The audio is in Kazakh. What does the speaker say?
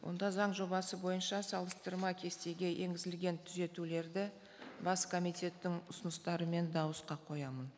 онда заң жобасы бойынша салыстырма кестеге енгізілген түзетулерді бас комитеттің ұсыныстарымен дауысқа қоямын